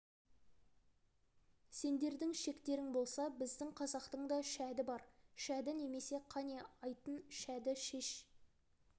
сендердің шектерің болса біздің қазақтың да шәді бар шәді немене қане айтын шәді шеш